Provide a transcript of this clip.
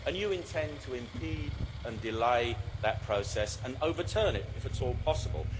You intend to impede and delay that process and overturn it if at all possible.